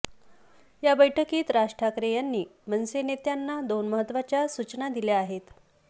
या बैठकीत राज ठाकरे यांनी मनसे नेत्यांना दोन महत्वाच्या सूचना दिल्या आहेत